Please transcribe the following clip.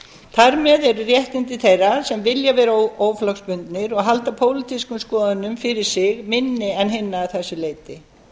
þar með eru réttindi þeirra sem vilja vera óflokksbundnir og halda pólitískum skoðunum fyrir sig minni en hinna að þessu leyti